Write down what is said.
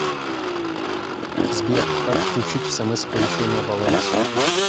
сбер как отключить смс оповещение о балансе